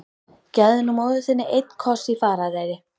Gefðu nú móður þinni einn koss í farareyri!